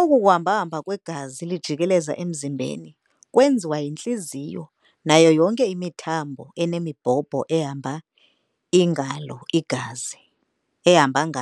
Oku kuhamba-hamba kwegazi lijikeleza emzimbeni kwenziwa yintliziyo nayo yonke imithambo bnemibhobho ehamba